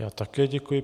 Já také děkuji.